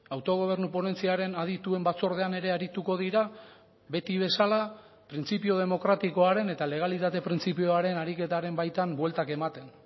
autogobernu ponentziaren adituen batzordean ere arituko dira beti bezala printzipio demokratikoaren eta legalitate printzipioaren ariketaren baitan bueltak ematen